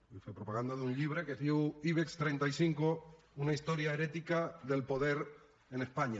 vull fer propaganda d’un llibre que es diu ibex trenta cinc una historia herética del poder en españa